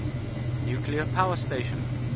nuclear power station